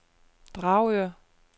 Dragør